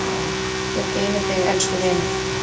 Guð geymi þig, elsku vinur.